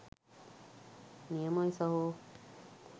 නියමයි සහෝ.